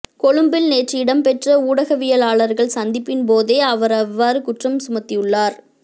கொழும்பில் நேற்று இடம்பெற்ற ஊடகவியலாளர்கள் சந்திப்பின் போதே அவர் இவ்வாறு குற்றம் சுமத்தியுள்ளார்